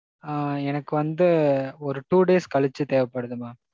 ஆ எனக்கு வந்து ஒரு two days கழிச்சு தேவைப்படுது mam.